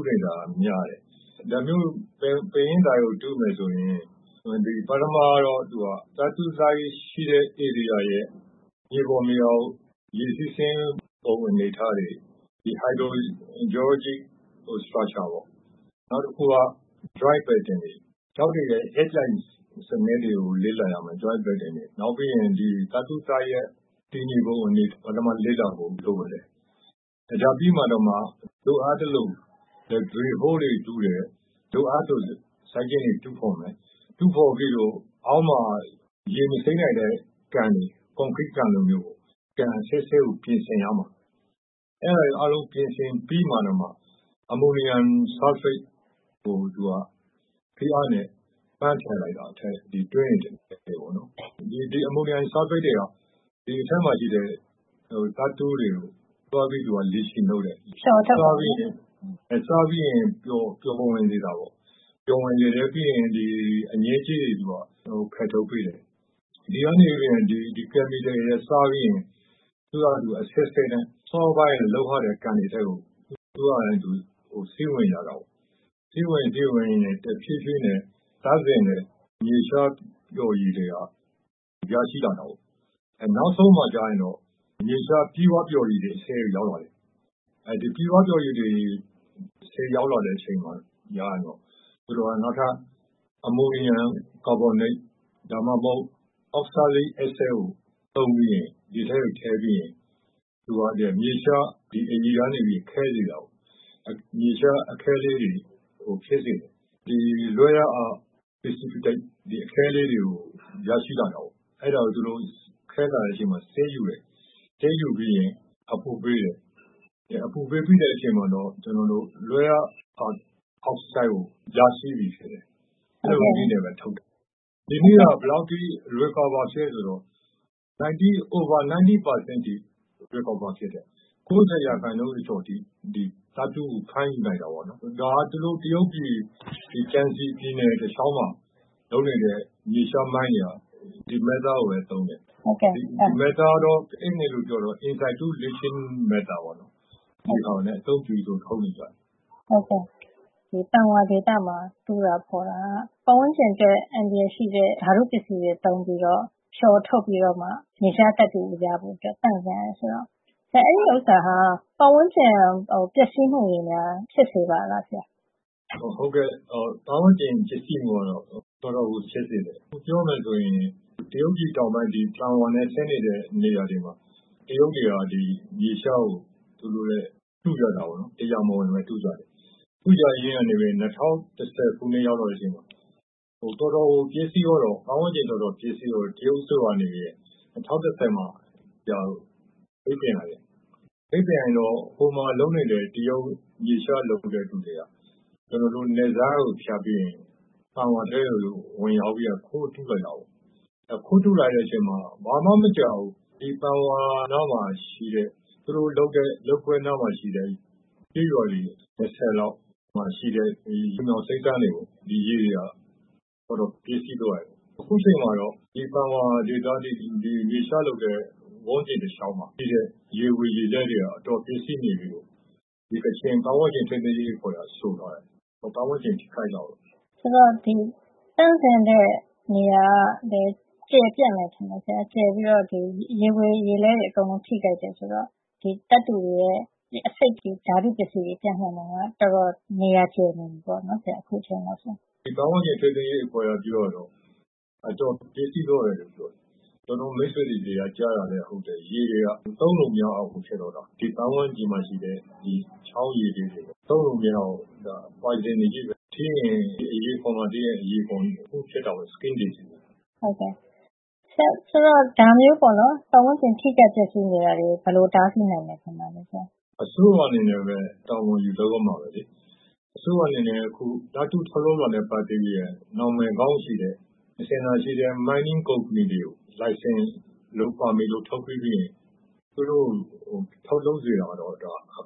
းနေတာက များတယ်။ ဒါမျိုး ပင်ရင်းသိုက်ကို တူးမယ်ဆိုရင်၊. ပထမတော့ သူက သတ္တုသိုက်ရှိတဲ့နေရာရဲ့ မြေပေါ်မြေအောက် ရေစီးဆင်းပုံ အနေအထားတွေ၊ ဒီ hydro geologic structure ပေါ့။ နောက်တခုက joint pattern တွေ၊ ကျောက်တွေရဲ့ အက်ပြိုင်စံနစ်တွေကို လေ့လာရမယ်။ နောက်ပြီးရင် ဒီသတ္တုသိုက်ရဲ့ တည်နေပုံ အနေအထားတွေကို ပထမ လေ့လာဖို့ လိုတယ်။ ဒါပြီးမှ လိုအပ်သလို drill hole တွေ တူးမယ်။ လိုအပ်သလို စိုက်ကျင်းတွေ တူးဖေါ်မယ်။ တူးဖေါ်ပြီးလို့ရှိရင် အောက်မှာ ရေမစိမ့်နိုင်တဲ့ ကန်တွေ၊ ကွန်ကရိကန်လိုမျိုးပေါ့။ ကန်အဆင့်ဆင့်ကို ပြင်ဆင်ရမှာ။ အဲဒါတွေ အားလုံးကို ပြင်ဆင် ပြီးတော့ကျမှ အမိုနီယမ် ဆာလ်ဖိတ်ကို သူက ဖိအားနဲ့ပန်းထည့်လိုက်တာ၊ ဒီတွင်းတွေ ထဲကို ပေါ့နော်။ ဒီအမိုနီယမ်ဆာလ်ဖိတ်တွေက ဒီအထဲမှာရှိတဲ့ သတ္တုတွေကို သွားပြီးတော့ leaching လုပ်တယ်။” “ဖျော်ထုတ်တာ ပေါ့နော်။” “ဟုတ်တယ်။ စားပြီး ပျော်ဝင်စေတာပေါ့။ ပျော်ဝင်စေပြီးရင် သူက အညစ်အကြေးတွေကို ဖယ်ထုတ်ပေးတယ်။ ဒီ ကယ်မီကယ်တွေက စားပြီးရင် သူက အဆင့်ဆင့်နဲ့ စောစောက လုပ်ထားတဲ့ ကန်တွေထဲကို သူ့ဟာနဲ့သူ စီးဝင်ကြတာပေါ့။ သူက စီးဝင်ရင်း စီးဝင်ရင်းနဲ့ တဖြေးဖြေးနဲ့သန့်စင်တဲ့ မြေရှားပျော်ရည်တွေ ရရှိလာတာပေါ့။ အဲနောက်ဆုံးမှာ သူက မြေရှားပြည့်ဝပျော်ရည်တွေ အဆင့်ကို ရောက်လာတာပေါ့။ အဲဒီလို ပြည့်ဝပျော်ရည် အဆင့်ကို ရောက်လာတဲ့ အခါ ကျရင်တော့ သူတို့က အမိုနီယမ် ကာဗွန်နိတ် ဒါမှမဟုတ် အောက်ဆာလိဒ် အက်ဆစ်ကို သုံးပြီးရင်၊ ဒီအထဲကို ထည့်ပြီးရင် သူက ဒီမြေရှား အရည်ကနေ ခဲစေတာပေါ့။ မြေရှား အခဲလေးတွေကို ဖြစ်စေတယ်။ ဒီ rare earth precipitate အခဲလေးတွေကို ရရှိလာတာပေါ့။ အဲဒါကို သူတို့က ခဲလာတဲ့အချိန်မှာ စစ်ယူတယ်။ စစ်ယူပြီးရင် အပူပေးတယ်။ အပူပေးပြီးတဲ့ အချိန်မှာတော့ ကျနော်တို့ rare earth အောက်ဆိုဒ်ကို ရရှိပြီဖြစ်တယ်။ အဲလိုနည်းနဲ့ပဲ ထုတ်တယ်။” ဒီနည်းက ဘယ်လောက်အထိ recover ဖြစ်သလဲ ဆိုတော့ over 90 % အထိ ဖြစ်တယ်။ ၉ ၀ ရာခိုင်နှုန်း ကျော်ကျော်အထိ ဒီ မြေရှား သတ္တုကို ဖမ်းယူနိုင်တာပေါ့နော်။ ဒါက တရုတ်ပြည် ကျန်စီပြည်နယ် တလေ ျှာက်မှာ လုပ်နေတဲ့ မြေရှားမိုင်းတွေက ဒီ method နည်းကိုပဲ သုံးတယ်။ ဒီနည်းကတော့ Insitu leaching method ပေါ့နော်။ ဒီဟာနဲ့ အသုံးပြုပြီးတော့ ထုတ်နေကြတယ်။” “ဟုတ်ကဲ့။ ဒီပန်ဝါဒေသမှာတူးတာဖေါ်တာက ပတ်ဝန်းကျင်အတွက် အန္တရာယ်ရှိတဲ့ ဓါတု ပစ္စည်းတွေ သုံးပြီး ဖျော်ထုတ်ပြီးတော့မှ မြေရှားသတ္တုကို ရဖို့သန့်စင်ရတယ် ဆိုတော့ ဒါဟာ ပတ်ဝန်းကျင် အတွက် ပျက်စီးမှုတွေ ဖြစ်စေပါလားဆရာ။” “ဟုတ်ကဲ့။ ပတ်ဝန်းကျင်ပျက်စီးမှုကတော့ တော်တော်ကို ဖြစ်စေတယ်။ ပြောမယ် ဆိုရင် တရုတ်ပြည် တောင်ပိုင်း ဒီ ပန်ဝါနဲ့ ဆက်နေတဲ့ နေရာတွေမှာ တရုတ်တွေက ဒီ မြေရှားကို တူးကြတာပေါ့နော်။ တရားမဝင်ပဲ တူးကြတယ်။ တူးကြရင်းကနေပဲ ၂၀၁၀ ခုနှစ်ရောက်တဲ့ အချိန်မှာ တော်တော်ကို ပျက်စီးသွားတော့၊ ပတ်ဝန်းကျင်တော်တော် ပျက်စီးသွားတော့ တရုတ်အစိုးရက နေပြီးတော့ ၂၀၁၀ မှာ ပိတ်ပင်လိုက်တယ်။ ပိတ်ပင်လိုက်တော့ ဟိုမှာ လုပ်နေတဲ့ တရုတ် မြေရှား လုပ်ဖူးတဲ့သူတွေက ကျနော်တို့ နယ်စပ်ကို ဖြတ်ပြီးရင် ဒီပန်ဝါထဲကို ဝင်ရောက်ပြီးရင် ခိုးတူးလာကြတာပေါ့။ အဲလို ခိုးတူးလာတဲ့ အချိန်မှာ ဘာမှ မကြာဘူး။ ဒီပန်ဝါနားမှာ ရှိတဲ့ သူတို့လုပ်ကွက်နားမှာရှိတဲ့ ကျေးရွာတွေ ၂၀ လောက် မှာ ရှိတဲ့ လ ျှိုမြောင်စိမ့်စမ်းတွေပေါ့။ ဒီရေတွေဟာ တော်တော် ပျက်စီးသွားတယ်။ အခုအချိန်မှာတော့ ဒီပန်ဝါဒေသ ဒီမြေရှားလုပ်တဲ့ ဝန်းကျင်တလေ ျှာက်မှာ ရှိတဲ့ ရေဝေရေလဲ တွေက အတော်ပျက်စီးနေပြီလို့ ကချင်ပတ်ဝန်းကျင်ထိန်းသိမ်းရေး အဖွဲ့က ဆိုထားတယ်။ ပတ်ဝန်းကျင်ထိခိုက်တာပေါ့။” “ဒီသန့်စင်တဲ့ နေရာကလည်း ကျယ်ပြန့်တယ် ထင်တယ်ဆရာ။ ဒီရေဝေရေလဲတွေ အကုန် ထိခိုက်တယ် ဆိုတော့။ သတ္တုတွေက ဒီအဆိပ် ဓါတုပစ္စည်းတွေ ပြန့်နှံ့တာက တော်တော် နေရာကျယ်ပြန့်နေပြီ ထင်တယ်ဆရာ။” “ဒီပတ်ဝန်းကျင်ထိန်းသိမ်းရေး အဖွဲ့က ပြောတာကတော့ အတော်ပျက်စီးသွားတယ်လို့ ပြောတယ်။ ကျနော့်မိတ်ဆွေတွေ ဆီက ကြားရတာကလည်း ဟုတ်တယ် ရေတွေက သုံးလို့ မရလောက်အောင်ကို ဖြစ်သွားတာ။ ဒီပတ်ဝန်းကျင်မှာ ရှိတဲ့ ချောင်းတွေက ရေတွေဟာ သုံးလို့ မရအောင် ဒီ poison အဆိပ်ချည်းပဲ။ ထိရင် ဒီအရေခွံ- အရေပြားမှာ ထိရင် အရေပြား တခုခု ဖြစ်တာပေါ့။ ဒီ skin disease အရေပြားရောဂါပဲ။” “ဆရာ ဒီလိုမျိုး ပတ်ဝန်းကျင် ထိခိုက် ပျက်စီးနေတာတွေကို ဘယ်လို တားဆီးနိုင်မယ် ထင်ပါသလဲ ဆရာ။” “အစိုးရ အနေနဲ့ပဲ တာဝန်ယူလုပ်ရမှာပဲလေ။ ဒီအစိုးရအနေနဲ့ အခုသတ္တုထုတ်လုပ်တာနဲ့ ပတ်သက်ပြီးရင် နံမယ်ကောင်းရှိတဲ့။ အစဉ်လာရှိတဲ့ mining သတ္တုတူးဖေါ်ရေး ကုမ္ပဏီတွေကို လိုင်စင်တို့ ပါမစ်တို့ ထုတ်ပေးပြီး သတ္တုထုတ်စေတာကတော့ အ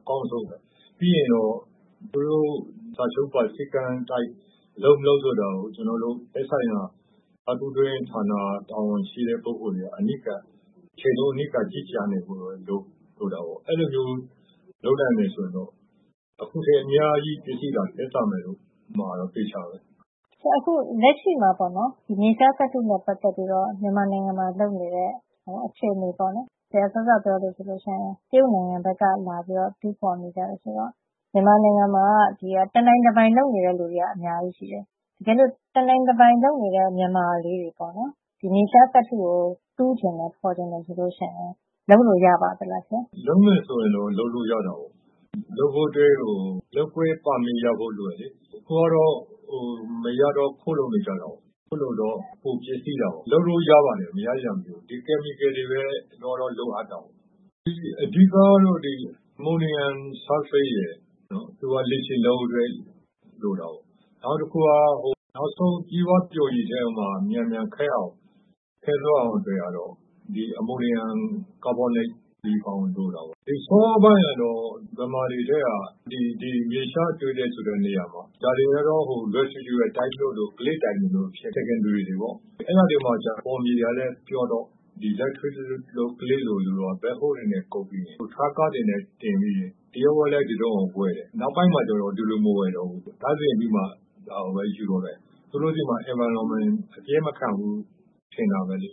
ကောင်းဆုံးပဲ။ ပြီးရင်တော့ သူတို့ စာချုပ်ပါ စည်းကမ်း အတိုင်း လုပ်မလုပ် ဆိုတာကို ကျနော်တို့ သက်ဆိုင်ရာ သတ္တုတွင်းဌာန တာဝန်ရှိတဲ့ ပုဂ္ဂိုလ်တွေက အနီးကပ်၊ တချိန်လုံး အနီးကပ် ကြီးကြပ်ဖို့ လိုတာပေါ့။ အဲဒီလိုမျိုး လုပ်နိုင်မယ် ဆိုရင်တော့ အခုထက် အ များကြီး ပျက်စီးတာ သက်သာမှာတော့ အသေအချာပဲ။” “ဆရာ အခု လက်ရှိမှာ မြေရှားသတ္တုနဲ့ပတ်သက်ပြီးတော့ မြန်မာနိုင်ငံမှာ လုပ်နေတဲ့ အခြေနေပေါ့နော်။ ဆရာ စောစောက ပြောသလိုဆို တရုတ်နိုင်ငံကပဲ လာပြီး တူးဖေါ်နေကြတယ် ဆိုတော့။ တကယ်ဆို မြန်မာနိုင်ငံမှာက တနိုင်တပိုင် လုပ်နေတဲ့ သူတွေက အများကြီးရှိတယ်။ တကယ်လို့ တနိုင်တပိုင် လုပ်နေတဲ့ မြန်မာတွေ ဒီမြေရှား သတ္တုကို တူးချင် ဖေါ်ချင်တယ် ဆိုရင် လုပ်လို့ ရပါလား ဆရာ။” “လုပ်မယ်ဆိုရင်တော့ လုပ်လို့ ရတာပေါ့။ လုပ်ဖို့အတွက် လုပ်ကွက် ပါမစ် ရဖို့ လိုတယ်လေ။ အခုကတော့ မရတော့ ခိုးလုပ်နေကြတာကိုး၊ ခိုးလုပ်တော့ ပိုပျက်စီးတာပေါ့။ လုပ်လို့ ရပါတယ်။ မရစရာ မရှိဘူး။ ဒီ ဓါတုပစ္စည်းတွေပဲ အမှန်ကတော့ လိုအပ်တာပေါ့။ အဓိက ကတော့ ဒီ အမိုနီယမ်ဆာလ်ဖိတ်ရယ်။. သူက leaching လုပ်ဖို့အတွက် လိုတယ်။ နောက်တခုက နောက်ဆုံး ပြည့်ဝပျော်ရည်ထဲမှာ မြန်မြန် ခဲသွားအောင် အတွက်ကတော့ ဒီ အမိုနီယမ် ကာဗွန်နိတ် လိုတာပေါ့။ စောစောပိုင်းကတော့ ဒီမြန်မာတွေထဲက ဒီမြေရှားတွေ့တယ် ဆိုတဲ့နေရာမှာ ဒါတွေကတော့ residual မျိုးတို့ clay သိုက်မျိုးတို့ ။ secondary တွေပေါ့။ အဲဒါတွေမှာ ကျတော့ မြေကလည်း ပျော့တော့ ဒီ ဂဝံကျောက်မြေမျိုး မြေစေးမြေမျိုး တို့ကျ သူက ဘက်ဟိုးတွေနဲ့ ကုပ်ပြီး ဒီထရပ်ကားတွေနဲ့ တင်ပြီး သူတို့ ဒီတရုတ်ကလည်း ဝယ်တယ် အရင်က။ နောက်ပိုင်းကျတော့ ဒီလိုမဝယ်တော့ဘူးလေ။ သူတို့က သန့်စင်ပြီးမှ ဒါကိုပဲ ယူတော့တယ်။ သူတို့ဆီမှာ ပတ်ဝန်းကျင် အပျက်မခံဘူး ထင်တာပဲလေ